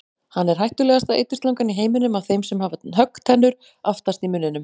Hann er hættulegasta eiturslangan í heiminum af þeim sem hafa höggtennur aftast í munninum.